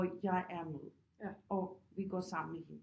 Hvor jeg er med og vi går sammen med hende